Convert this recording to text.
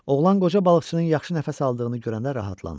Oğlan qoca balıqçının yaxşı nəfəs aldığını görəndə rahatlandı.